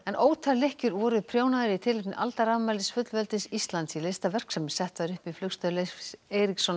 ótal lykkjur voru prjónaðar í tilefni aldarafmælis fullveldis Íslands í listaverk sem sett var upp í Flugstöð Leifs Eiríkssonar